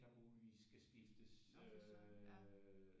Der muligvis skal skiftes øh